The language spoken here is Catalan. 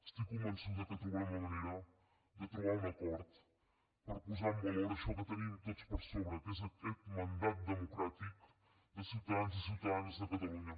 estic convençuda que trobarem la manera de trobar un acord per posar en valor això que tenim tots per sobre que és aquest mandat democràtic de ciutadans i ciutadanes de catalunya